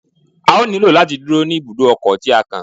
A ó nílò láti dúró ní ibùdó ọkọ̀ tí á kàn.